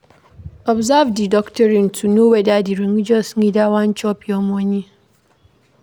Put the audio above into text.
Observe di doctrine to know whether di religious leader wan chop your money